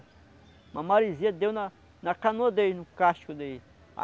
Uma maresia deu na na canoa deles, no casco deles.